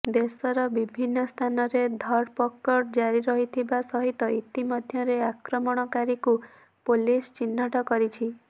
ଦେଶର ବିଭିନ୍ନ ସ୍ଥାନରେ ଧରପଗଡ଼ ଜାରି ରହିଥିବା ସହିତ ଇତିମଧ୍ୟରେ ଆକ୍ରମଣକାରୀକୁ ପୋଲିସ ଚିହ୍ନଟ କରିଛି